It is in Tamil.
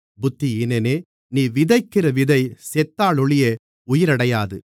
புத்தியீனனே நீ விதைக்கிற விதை செத்தாலொழிய உயிரடையாதே